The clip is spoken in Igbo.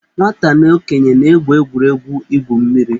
Nwata na okenye na-egwu egwuregwu igwu mmiri.